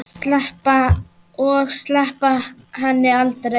Og sleppa henni aldrei.